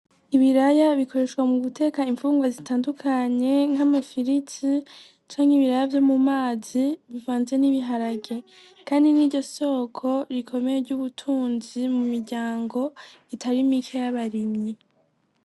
Ibiraya bikoreshwa mu guteka imfungurwa zitandukanye nk'amafiriti canke ibiraya vyo mu mazi bivanze n'ibiharage, kandi ni ryo soko rikomeye ry'ubutunzi mu miryango itari mike y'abarimyi.